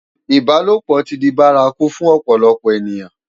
Ibálópò ti di bàrákú fún òpòlòpò ëniyán